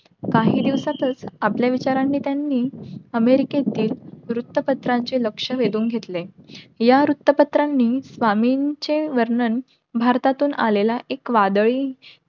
काही दिवसातच आपल्या विचारांनी त्यांनी अमेरिकतेतील वृत्त पत्रांचे लक्ष वेधून घेतले. या वृत्त पत्रांनी स्वामींचे वर्णन भारतातून आलेला एक वादळी,